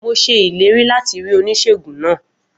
Mo ṣe ìlérí láti rí Oníṣèègùn náà